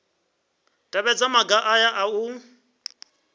tevhedza maga aya a u